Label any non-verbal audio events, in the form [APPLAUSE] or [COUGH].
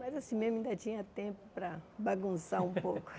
Mas assim mesmo, ainda tinha tempo para bagunçar um pouco. [LAUGHS]